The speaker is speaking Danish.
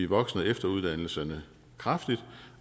voksen og efteruddannelserne kraftigt